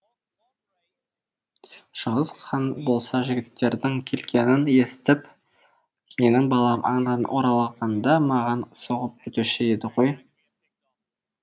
шыңғыс хан болса жігіттердің келгенін естіп менің балам аңнан оралғанда маған соғып өтуші еді ғой